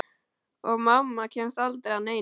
Og mamma kemst aldrei að neinu.